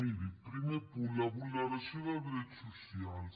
miri primer punt la vulneració de drets socials